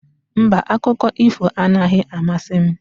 Mba, akụkọ ifo anaghị amasị m.